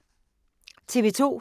TV 2